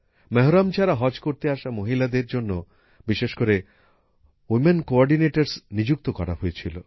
মেহরম ছাড়া হজ করতে আসা মহিলাদের জন্য বিশেষ করে উইমেন কো অর্ডিনেটর নিযুক্ত করা হয়েছিল